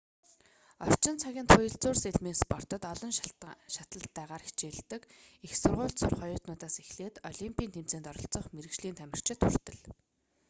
орчин цагын туяалзуур сэлмийн спортод олон шатлалтайгаар хичээллдэг их сургуульд сурах оюутнуудаас эхлээд олимпийн тэмцээнд оролцох мэргэжлийн тамирчид хүртэл